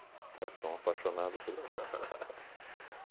Tá? Sou um apaixonado por pizza.